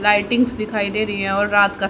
lightings दिखाई दे रही हैं और रात का--